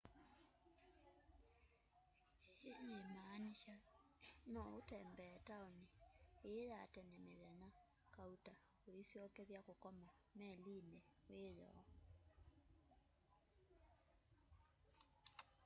ii yimaanisha no utembee taoni ii ya tene mithenya kauta uisyokethya kukoma melini wiyoo